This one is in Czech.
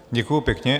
Děkuji pěkně.